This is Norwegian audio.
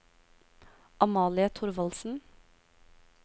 Amalie Thorvaldsen